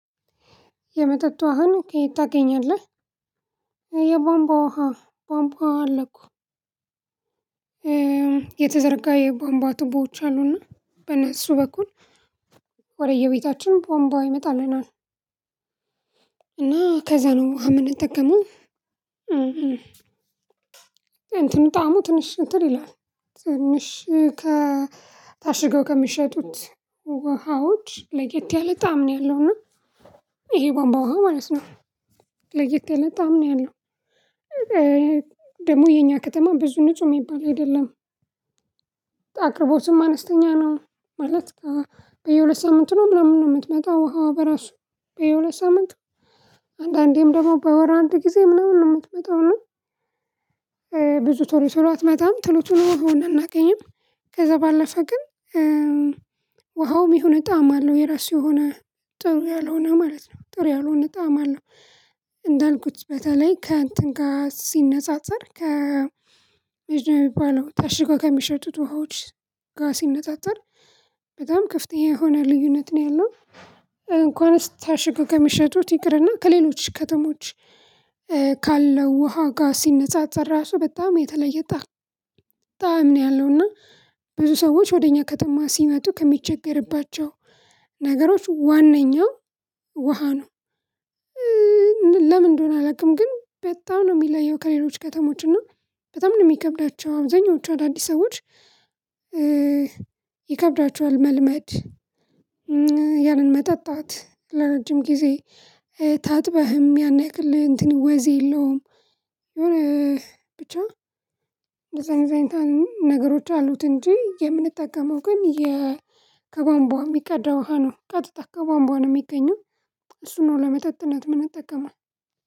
የመጠጥ ውሃን ከየት ታገኛለህ? የቧንቧ ውሃ ቧንቧ አለ እኮ የተዘረጋ የባምባ ቱቦዎች አሉና በነሱ በኩል ወደየቤታችን ቧምቧ ይመጣልናል እና ከዛ ነው ውሃ የምንጠቀመው። እንትኑ ጣዕሙ ትንሽ እንትን ይላል ትንሽ ከ ታሽገው ከሚሸጡት ውሃዎች ለየት ያለ ጣዕም ነው ያለው እና ይሄ ቧንቧ ውሃ ማለት ነው። ለየት የለም በጣም ነው ያለው። ደግሞ የኛ ከተማ ብዙ ንጹህ የሚባል አይደለም። አቅርቦትም አነስተኛ ነው። ማለት በየሁለት ሳምንት ነው ምናምን ነው የምትመጣው ውሃው በራሱ በየሁለት ሳምንት አንዳንዴም ደግሞ በወር አንድ ጊዜ ምናምን ነው የምትመጣው። ብዙ ቶሎ ቶሎ አትመጣም ቶሎ ቶሎ ውሃውን እናገኝም። ከዛ ባለፈ ግን። ውሃውም የሆነ ጣዕም አለው የራሱ የሆነ ጥሩ ያልሆነ ማለት ነው ጥሩ ያልሆነ ጣዕም አለው። እንዳልኩት በተለይ ከእንትን ጋር ሲነጻጸር ከ የሚባለው ታሽጎ ከሚሸጡት ውሃዎች ጋር ሲነጣጠር በጣም ከፍተኛ የሆነ ልዩነት ነው ያለው። እንኳንስ ታሽገው ከሚሸጡት ይቅርና ከሌሎች ከተሞች ካለው ውሃ ጋር ሲነጻጸር ራሱ በጣም የተለየ ጣዕም ነው ያለውና ብዙ ሰዎች ወደ እኛ ከተማ ሲመጡ ከሚቸገርባቸው ነገሮች ዋንኛው ውሃ ነው። ለምንድነው አላውቅም ግን በጣም ነው የሚለየው ከሌሎች ከተሞች እና በጣም ነው የሚከብዳቸው አብዛኞቹ አዳዲስ ሰዎች። ይከብዳቸዋል መልመድ። ያንን መጠጣት ለረጅም ጊዜ ታጥበህም ያን ያክል እንትን ወይዘህ የለውም። የሆነ ብቻ በዛን አይነት ነገሮች አሉት እንጂ የምንጠቀመው ግን። ከቧንቧ የሚቀዳ ውሃ ነው ቀጥታ ከቧንቧ ነው የሚገኘው እሱን ነው ለመጠጥነት እምንጠቀመው።